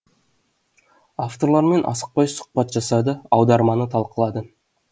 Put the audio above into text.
авторлармен асықпай сұхбат жасады аударманы талқылады